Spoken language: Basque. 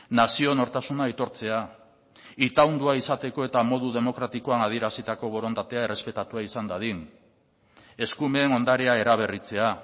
nazio nortasuna aitortzea itaundua izateko eta modu demokratikoan adierazitako borondatea errespetatua izan dadin eskumen ondarea eraberritzea